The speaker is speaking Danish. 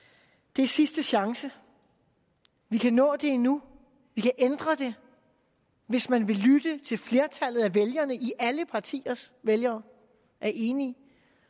det er sidste chance vi kan nå det endnu vi kan ændre det hvis man vil lytte til flertallet af vælgerne alle partiers vælgere er enige